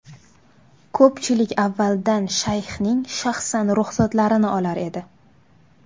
Ko‘pchilik avvaldan Shayxning shaxsan ruxsatlarini olar edi.